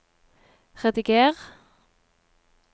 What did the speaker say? rediger